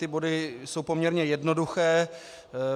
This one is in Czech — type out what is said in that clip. Ty body jsou poměrně jednoduché.